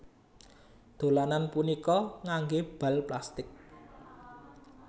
Dolanan punika nganggé bal plastik